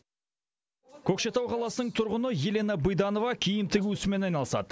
көкшетау қаласының тұрғыны елена быданова киім тігу ісімен айналысады